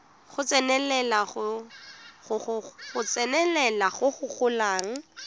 go tsenelela go go golang